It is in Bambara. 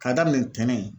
K'a daminɛ ntɛnɛn